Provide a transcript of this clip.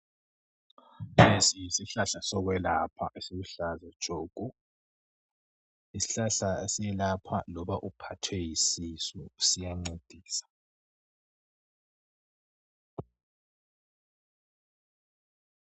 Lesi yisihlahla sokwelapha esiluhlaza tshoko. Siyelapha loba uphethwe yisisu, siyancedisa.